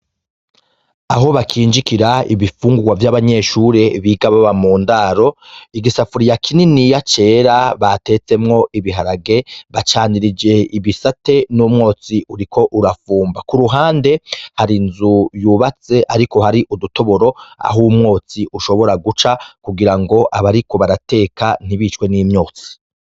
Aho bakinjikira ibifungurwa vyabanyeshure biga baba mundaro igisafuriya kininiya cera batetsemwo ibiharage bacanirije ibisate n'umwotsi uriko urafumba kuruhande hari inzu yubatse ariko hari udutoboro aho umwotsi ushobora guca kugirango bariko barateka ntibicwe nimyotsi.